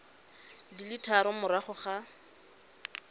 di le tharo morago ga